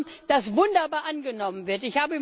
Ein Programm, das wunderbar angenommen wird.